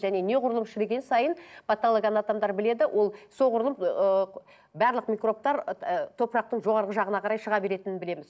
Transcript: және неғұрлым шіріген сайын патологоанатомдар біледі ол соғұрлым ыыы барлық микробтар топырақтың жоғарғы жағына қарай шыға беретінін білеміз